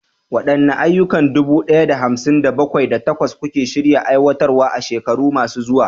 Waɗanne ayyuka dubu ɗaya da hamsin da bakwai, da takwas suke shirin aiwatarwa a shekaru masu zuwa?